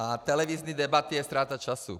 A televizní debaty je ztráta času.